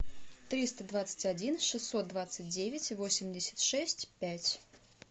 триста двадцать один шестьсот двадцать девять восемьдесят шесть пять